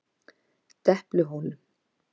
Depluhólum